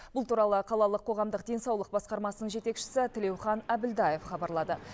бұл туралы қалалық қоғамдық денсаулық басқармасының жетекшісі тілеухан әбілдаев хабарлады